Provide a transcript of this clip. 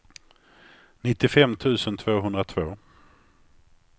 nittiofem tusen tvåhundratvå